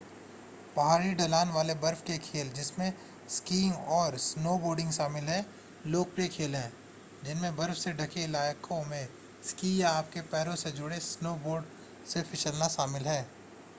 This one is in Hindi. पहाड़ी ढलान वाले बर्फ के खेल जिसमें स्कीइंग और स्नोबोर्डिंग शामिल हैं लोकप्रिय खेल हैं जिनमें बर्फ से ढके इलाकों में स्की या आपके पैरों से जुड़े स्नोबोर्ड से फिसलना शामिल है